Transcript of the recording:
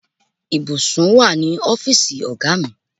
Ìbùsùn wà ní ọ́fíìsì ọ̀gá mi.